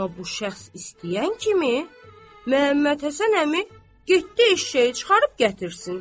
Amma bu şəxs istəyən kimi Məmmədhəsən əmi getdi eşşəyi çıxarıb gətirsin.